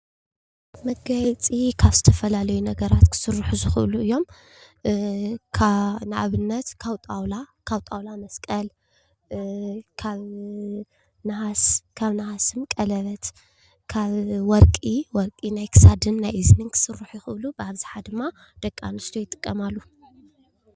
መጋየፅ ካብ ዝተፋላለይ ነገራተ ክሰሩሑ ዝክእሉ እዮም፡፡ ንኣብነት ካብ ጣዉላ መሰቀል፣ ካብ ነሃሰ ቀለብየት፣ ካብ ወርቂ ናይ ክሳደ ናይ አዝን ክስሩሑ ይክእሉ፡፡ ብኣብዝሓ ድማ ደቂ ኣንስትዮ ክጥቀማሉ ይክእላ።